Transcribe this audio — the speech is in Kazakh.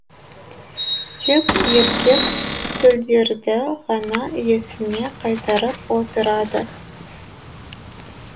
тек еркек төлдерді ғана иесіне қайтарып отырады